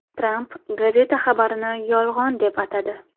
Tramp gazeta xabarini yolg‘on deb atadi.